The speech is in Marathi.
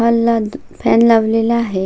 हॉल ला फॅन लावलेला आहे.